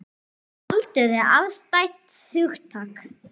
En aldur er afstætt hugtak.